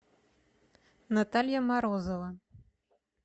наталья морозова